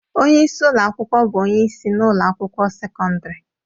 Onye isi ụlọ akwụkwọ bụ onye isi na ụlọ akwụkwọ sekọndrị